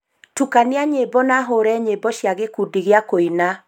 tukania nyimbo na hũũre nyĩmbo cia gĩkundi gĩa kũina